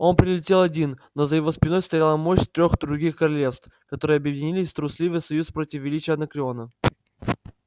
он прилетел один но за его спиной стояла мощь трёх других королевств которые объединились в трусливый союз против величия анакреона